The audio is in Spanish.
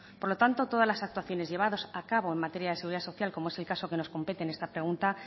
por lo tanto todas las actuaciones llevadas a cabo en materia de seguridad social como es el caso que nos compete en esta pregunta